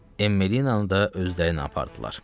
Emmi də yanında özlərini apardılar.